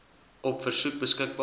op versoek beskikbaar